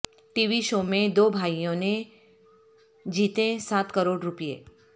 T V show میں دو بھائیوں نے جیتے سات کروڑ روپے